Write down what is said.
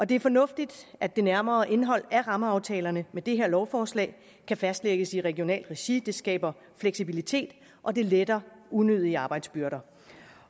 det er fornuftigt at det nærmere indhold af rammeaftalerne med det her lovforslag kan fastlægges i regionalt regi det skaber fleksibilitet og det letter unødige arbejdsbyrder